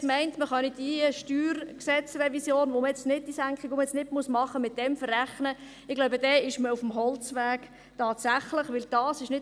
Wenn man nun meint, man könne diese StG-Revision, bei der man diese Senkung nun nicht machen muss, damit verrechnen, dann ist man tatsächlich auf dem Holzweg, so glaube ich.